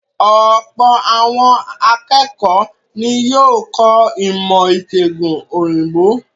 Ọ̀pọ̀ àwọn akẹ́kọ̀ọ́ ní yóò kọ̀ ọ́ ìmọ̀-ìṣẹ̀gùn òyìnbó.